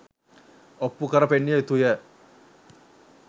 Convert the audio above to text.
ඔප්පු කර පෙන්විය යුතු ය.